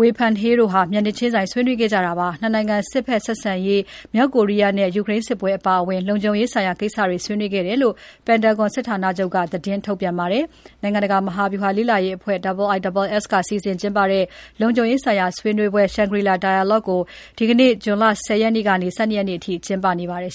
Wei Fenghe (ဝေဖန်ဟေး) တို့ မျက်နှာချင်း ဆွေးနွေးခဲ့ကြတာဖြစ်ပါတယ်။ ၂ နိုင်ငံ စစ်ဘက်ဆက်ဆံရေး၊ မြောက်ကိုရီးယားနဲ့ ယူကရိန်းစစ်ပွဲအပါအဝင် လုံခြုံရေးဆိုင်ရာကိစ္စတွေဆွေးနွေးခဲ့တယ်လို့ Pentagon စစ်ဌာနချုပ်က သတင်းထုတ်ပြန်ပါတယ်။ နိုင်ငံတကာမဟာဗြူဟာလေ့လာရေးအဖွဲ့ IISS က စီစဉ်ကျင်းပတဲ့ လုံခြုံရေးဆိုင်ရာ ဆွေးနွေးပွဲ Shangri-La Dialogue ကို ဒီနေ့ဇွန်လ ၁၀ ရက်ကနေ ၁၂ ရက်နေ့အထိ ကျင်းပနေပါတယ်